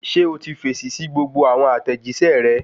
Ṣé o ti fèsì sí gbogbo àwọn àtẹ̀jíṣẹ́ rẹ